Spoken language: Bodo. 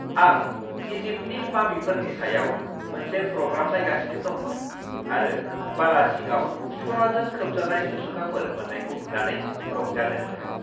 आं इजिप्टनि मामिफोरनि सायाव मोनसे प्रग्राम नायगासिनो दंमोन आरो बाला सिङाव सनाजों खोबजानाय मुसुखाफोर मोन्नायखौ नुनानै रंजादोंमोन।